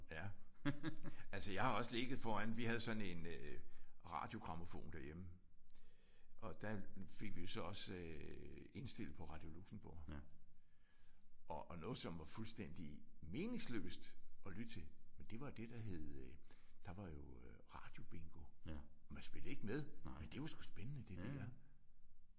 Ja. Altså jeg har også ligget foran vi havde sådan en øh radiogrammofon derhjemme. Og der fik vi jo så også indstillet på Radio Luxembourg. Og og noget som var fuldstændig meningsløst at lytte til men det var det der hed der var jo radiobingo. Man spillede ikke med men det var sgu spændende det der